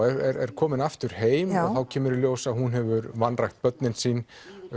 er komin aftur heim og þá kemur í ljós að hún hefur vanrækt börnin sín